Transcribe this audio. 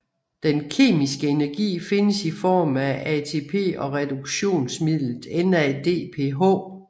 Den kemiske energi findes i form af ATP og reduktionsmidlet NADPH